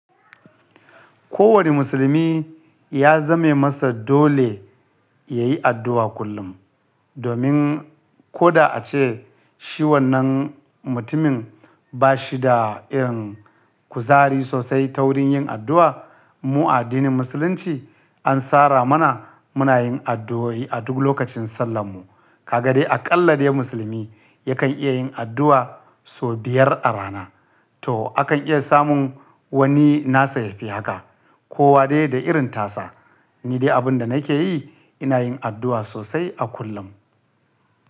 Kowane musulmi ya zame masa dole yayi addu'a kullum, domin koda a ce shi wannan mutumin ba shi da irin kuzari sosai ta wurin yin addu'a, mu a addinin musulunci an sara mana muna yin addu'o'i a duk lokacin sallan mu. Kaga dai aƙalla dai musulmi yakan iya yin addu'a sau biyar a rana. To, akan iya samun wani nasa yafi haka kowa dai da irin tasa. Ni dai abin da nake yi ina yin addu'a sosai a kullum.